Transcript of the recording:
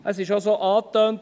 Es wurde so angetönt: